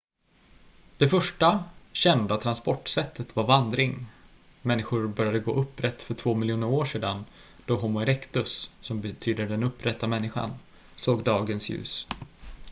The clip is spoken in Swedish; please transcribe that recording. det första kända transportsättet var vandring människor började gå upprätt för två miljoner år sedan då homo erectus som betyder den upprätta människan såg dagens ljus